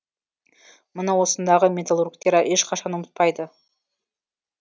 мұны осындағы металлургтер ешқашан ұмытпайды